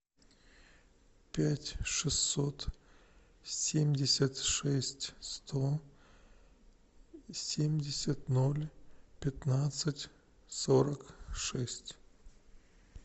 пять шестьсот семьдесят шесть сто семьдесят ноль пятнадцать сорок шесть